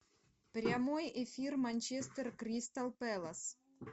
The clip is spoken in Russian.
прямой эфир манчестер кристал пэлас